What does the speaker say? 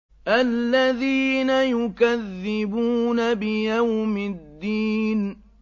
الَّذِينَ يُكَذِّبُونَ بِيَوْمِ الدِّينِ